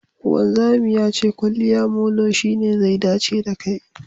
Wanzami ya ce kwaliya molo shine zai dace da kai